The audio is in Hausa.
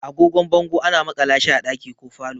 Agogon bango ana makala shi a ɗaki ko falo.